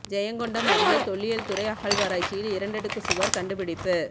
ஜெயங்கொண்டம் அருகே தொல்லியல் துறை அகழ்வாராய்ச்சியில் இரண்டடுக்கு சுவர் கண்டுபிடிப்பு